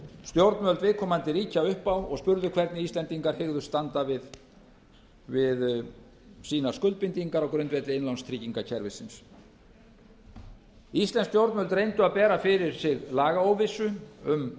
stjórnvöld viðkomandi ríkja upp á og spurðu hvernig íslendingar hygðust standa við sínar skuldbindingar á grundvelli innlánstryggingakerfisins íslensk stjórnvöld reyndu að bera fyrir sig lagaóvissu um